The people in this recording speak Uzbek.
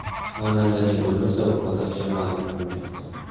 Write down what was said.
Xonandaning o‘limi sabab hozircha ma’lum qilinmayapti.